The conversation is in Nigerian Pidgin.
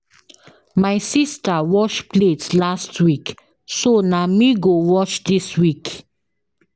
My sista wash plate last week so na me go wash dis week.